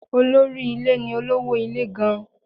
Olórí ilé ni olówó ilé gan-an.